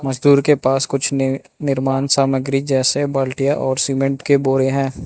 मजदूर के पास कुछ नी निर्माण सामग्री जैसे बाल्टीया और सीमेंट के बोरे हैं।